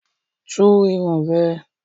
Tú irun rẹ̀!